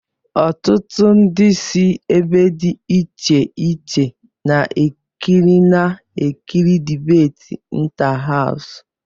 Ọtụtụ ndị si ebe dị iche iche na-ekirina-ekiri dibéti ịntáháws